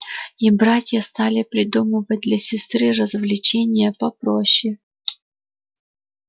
и братья стали придумывать для сестры развлечения попроще